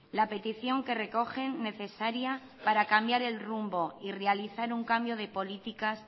la petición que recogen necesaria para cambiar el rumbo y realizar un cambio de políticas